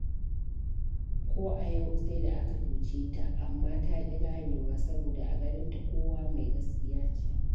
Ko a yau sai da aka cuce ta, amma ta ƙi ganewa, saboda a ganinta kowa mai gaskiya ce.